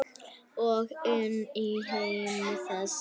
Og inn í heim þess.